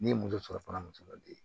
Ne ye muso sɔrɔ fana muso ka den